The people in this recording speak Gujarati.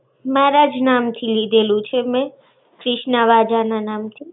મારા જ નામથી લેઢેલુ છે મેં. ક્રિષ્ણા વાઝા ના નામથી.